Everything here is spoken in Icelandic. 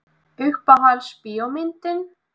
Uppáhalds bíómyndin?